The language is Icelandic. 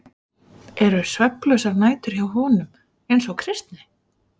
Eru svefnlausar nætur hjá honum eins og Kristni?